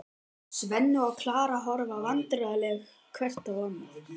Svenni og Klara horfa vandræðaleg hvort á annað.